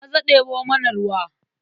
Maza ɗebo mana ruwa.